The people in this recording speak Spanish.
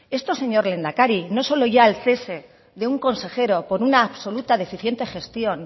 esto señor lehendakari no solo ya el cese de un consejero por una absoluta deficiente gestión